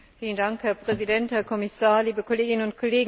Herr Präsident, Herr Kommissar, liebe Kolleginnen und Kollegen!